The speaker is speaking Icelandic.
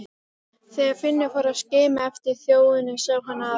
Þegar Finnur fór að skima eftir þjóninum sá hann að